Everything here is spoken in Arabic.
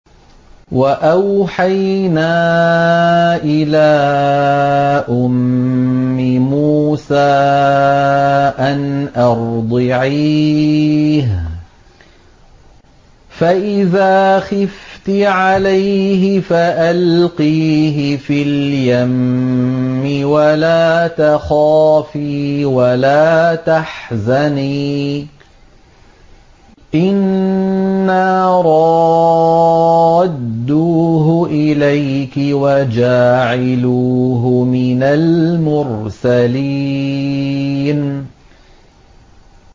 وَأَوْحَيْنَا إِلَىٰ أُمِّ مُوسَىٰ أَنْ أَرْضِعِيهِ ۖ فَإِذَا خِفْتِ عَلَيْهِ فَأَلْقِيهِ فِي الْيَمِّ وَلَا تَخَافِي وَلَا تَحْزَنِي ۖ إِنَّا رَادُّوهُ إِلَيْكِ وَجَاعِلُوهُ مِنَ الْمُرْسَلِينَ